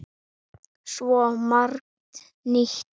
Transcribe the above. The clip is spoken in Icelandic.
Svo margt nýtt.